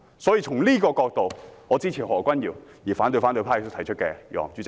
因此，我支持何君堯議員的議案，並反對反對派提出的議案。